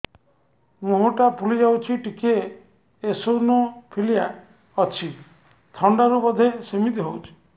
ମୁହଁ ଟା ଫୁଲି ଯାଉଛି ଟିକେ ଏଓସିନୋଫିଲିଆ ଅଛି ଥଣ୍ଡା ରୁ ବଧେ ସିମିତି ହଉଚି